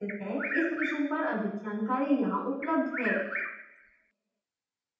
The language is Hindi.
इस mission पर अधिक जानकारी यहां उपलब्ध है: